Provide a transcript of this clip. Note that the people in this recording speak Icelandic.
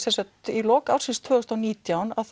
í lok ársins tvö þúsund og nítján